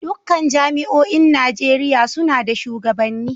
Dukkan jami'oin Najeriya suna da shugabanni